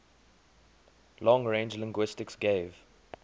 long range linguistics gave